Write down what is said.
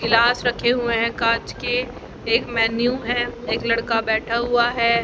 गिलास रखे हुए हैं कांच के एक मेनू है एक लड़का बैठा हुआ है।